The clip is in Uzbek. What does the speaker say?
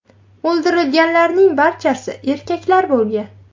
O‘ldirilganlarning barchasi erkaklar bo‘lgan.